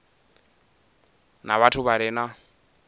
na vhathu vha re na